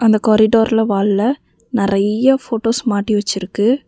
இந்த காரிடோர்ல வால்ல நெறைய ஃபோட்டோஸ் மாட்டி வச்சிருக்கு.